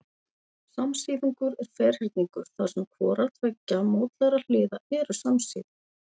Samsíðungur er ferhyrningur þar sem hvorar tveggja mótlægra hliða eru samsíða.